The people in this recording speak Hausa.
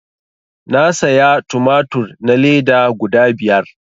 Na saya tumatur na leda guda biyar